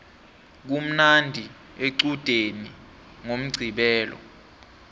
kumnandi equdeni ngomqqibelo